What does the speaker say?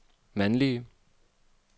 mandlige